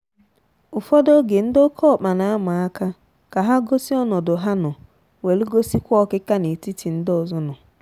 ụfọdụ oge ndi oke ọkpa na ama aka ka ha gosị ọnọdụ ha nọ welu gosi kwa ọkịka n'etiti ndị ọzọ nọ.